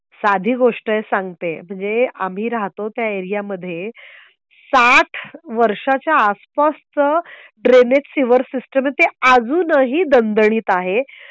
साधी गोष्ट आहे सांगते. म्हणजे आम्ही राहतो त्या एरियामध्ये साठ वर्षाच्या आसपासचं ड्रेनेज ची सीवर सिस्टम आहे ती अजूनही दणदणीत आहे.